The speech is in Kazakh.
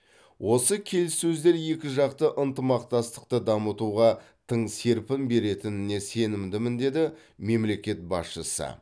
осы келіссөздер екіжақты ынтымақтастықты дамытуға тың серпін беретініне сенімдімін деді мемлекет басшысы